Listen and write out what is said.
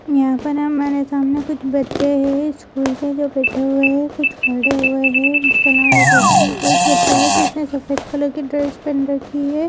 यहाँ पर हमारे सामने कुछ बच्चे हैं स्कूल के जो बैठे हुए हैं कुछ खड़े हुए हैं इसके अलावा एक व्यक्ति एक बच्चा है जिसने सफ़ेद कलर की ड्रेस पहन रखी है।